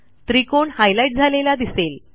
त्रिकोण हायलाईट झालेला दिसेल